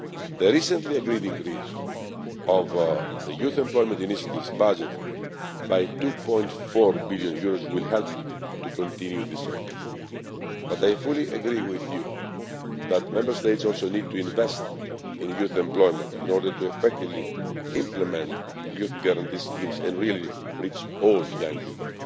The recently agreed increase of the Youth Employment Initiative's budget by EUR 2.14 billion will help to continue this effort, but I fully agree with you that Member States also need to invest in youth employment in order to effectively implement Youth Guarantee schemes and really reach all young